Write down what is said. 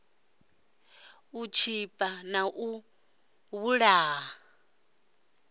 u tshipa na u vhulaha